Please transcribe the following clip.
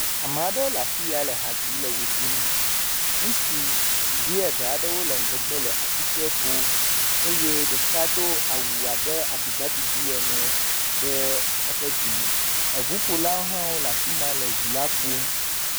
Ame aɖewo le afi ya, le ha dzim, le wɔ ɖum, ŋutsuvi eve aɖewo le ŋgɔgbe le asikpe ƒom eye ɖeka do awu abe aɖibaɖiɖi ene ɖe eƒe dzime, eŋuƒolawo hã wole afi ma le ŋu la ƒom.